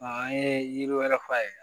A an ye yiri wɛrɛ f'a ye